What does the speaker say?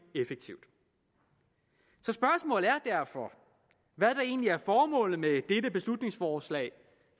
effektivt så spørgsmålet er derfor hvad der egentlig er formålet med dette beslutningsforslag